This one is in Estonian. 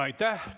Aitäh!